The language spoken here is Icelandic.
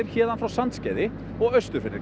héðan frá Sandskeiði og austur fyrir